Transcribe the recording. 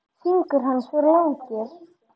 Fingur hans voru langir.